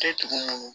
Tɛ tugun